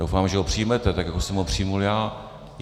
Doufám, že ho přijmete, tak jako jsem ho přijal já.